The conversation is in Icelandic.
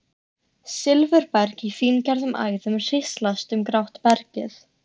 Silfurberg í fíngerðum æðum hríslast um grátt bergið.